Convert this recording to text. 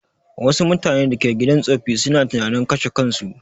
Wassu mutanen da ke gidan tsoffi suna tunanin kashe kansu